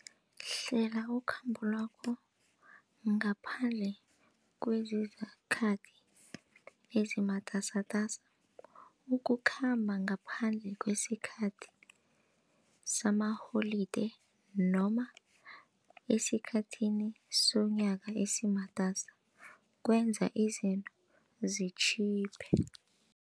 Hlela ukhambolwakho ngaphandle kwezikhathi ezimatasatasa. Ukukhamba ngaphandle kwesikhathi samaholide noma esikhathini somnyaka esimatasa kwenza izinto zitjhiphe.